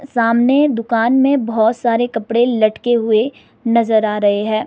सामने दुकान में बहुत सारे कपड़े लटके हुए नजर आ रहे हैं।